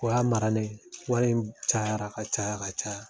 U y'a mara ne wari in cayara ka caya ka caya